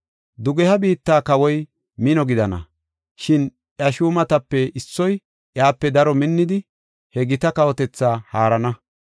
“Dugeha biitta kawoy mino gidana; shin iya shuumatape issoy iyape daro minnidi, he gita kawotethaa haarana.